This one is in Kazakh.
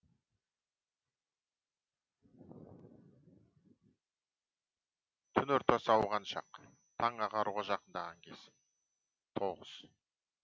түн ортасы ауған шақ таң ағаруға жақындаған кез тоғыз